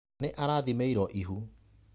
Nĩ arathĩmĩirwo ihu.